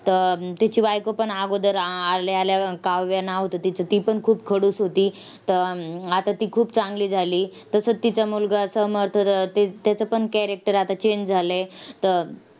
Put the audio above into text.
तर तिची बायकोपण अगोदर आल्याआल्या, काव्या नाव होतं तिचं, तीपण खूप खडूस होती. त अं आता ती खूप चांगली झाली. तसंच तिचा मुलगा समर्थ, त त्याचेपण character आता change झालंय. त